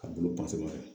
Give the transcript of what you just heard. Ka bolo fɛ